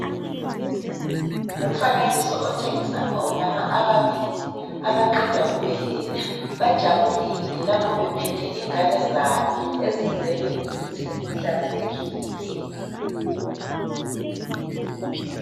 Ngumfanekiso otshengisa omama ababili abaqeda kubeletha. Bajabulile lapho bephethe ingane zabo ezizelwe zihlanzekile.